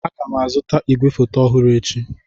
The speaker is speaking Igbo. Aga m azụta igwefoto ọhụrụ echi.